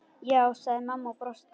Já, sagði mamma og brosti.